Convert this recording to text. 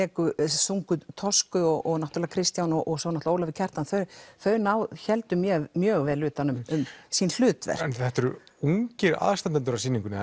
sungu Toscu og náttúrulega Kristján og Ólafur Kjartan þau þau héldu mjög mjög vel utan um sín hlutverk þetta eru ungir aðstandendur að sýningunni